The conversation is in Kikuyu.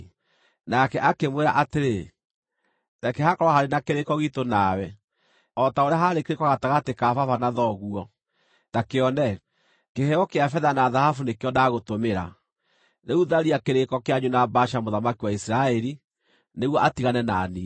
Nake akĩmwĩra atĩrĩ, “Reke hakorwo harĩ na kĩrĩĩko giitũ nawe, o ta ũrĩa haarĩ kĩrĩĩko gatagatĩ ka baba na thoguo. Ta kĩone, kĩheo kĩa betha na thahabu nĩkĩo ndagũtũmĩra. Rĩu tharia kĩrĩĩko kĩanyu na Baasha mũthamaki wa Isiraeli nĩguo atigane na niĩ.”